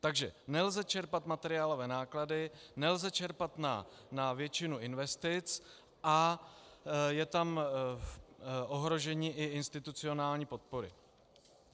Takže nelze čerpat materiálové náklady, nelze čerpat na většinu investic a je tam i ohrožení institucionální podpory.